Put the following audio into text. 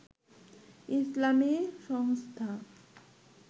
ইসলামী সংস্থা